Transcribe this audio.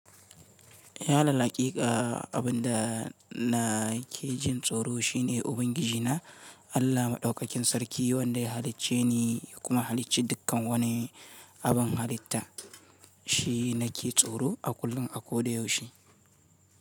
Alal haƙiƙa, abin da na ke jin tsoro shine Ubangiji na Allah Maɗaukakin Sarki, wanda ya halicce ni kuma ya halicci dukkan wani abun halitta. Shi nake tsoro a kullum, a koda yaushe.